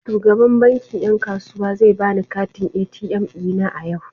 Shugaban bankin yan kasuwa zai bani katin ATM dina a yau.